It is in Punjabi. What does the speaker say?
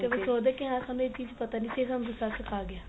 ਕਈ ਵਾਰੀ ਸੋਚਦੇ ਆ ਕਿ ਹਾਂ ਸਾਨੂੰ ਇਹ ਚੀਜ ਪਤਾ ਨਹੀਂ ਸੀ ਬੱਚਾ ਸਿਖਾ ਗਿਆ